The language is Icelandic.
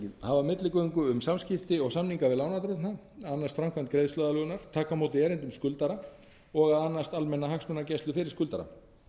hafa milligöngu um samskipti og samninga við lánardrottna annast framkvæmd greiðsluaðlögunar taka á móti erindum skuldara og að annast almenna hagsmunagæslu fyrir skuldara